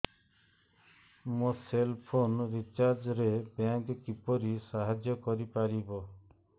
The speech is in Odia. ମୋ ସେଲ୍ ଫୋନ୍ ରିଚାର୍ଜ ରେ ବ୍ୟାଙ୍କ୍ କିପରି ସାହାଯ୍ୟ କରିପାରିବ